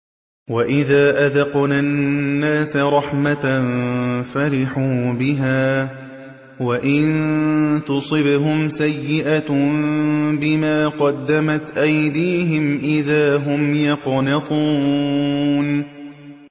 وَإِذَا أَذَقْنَا النَّاسَ رَحْمَةً فَرِحُوا بِهَا ۖ وَإِن تُصِبْهُمْ سَيِّئَةٌ بِمَا قَدَّمَتْ أَيْدِيهِمْ إِذَا هُمْ يَقْنَطُونَ